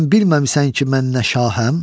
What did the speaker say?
Sən bilməmisən ki, mən nə şahəm?